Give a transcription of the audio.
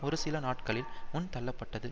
ஒரு சில நாட்களில் முன் தள்ளப்பட்டது